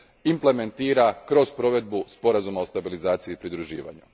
implementira kroz provedbu Sporazuma o stabilizaciji i pridruživanju.